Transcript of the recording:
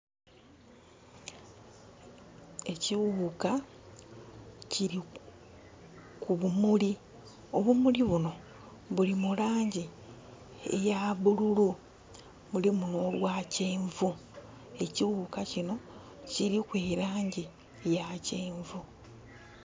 Ekighuka kili ku bumuli obumuli buno buli mulangi eya bululu bulimu no bwa kyenvu, ekighuka kino kiliku elangi eya kyenvu.